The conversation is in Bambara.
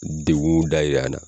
N degun da yira an na.